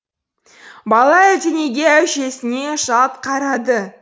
бала әлденеге әжесіне жалт қарады